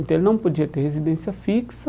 Então ele não podia ter residência fixa,